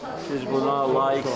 Siz buna layiqsiniz.